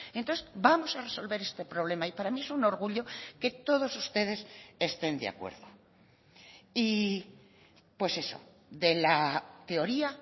entonces vamos a resolver este problema y para mí es un orgullo que todos ustedes estén de acuerdo y pues eso de la teoría